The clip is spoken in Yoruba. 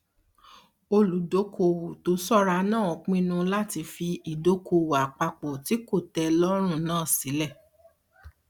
olùdóokòòwò um tó ṣọra náà pinnu láti fi ìdóokòòwò àpapọ tí kò um tẹ ẹ lọrùn náà sílẹ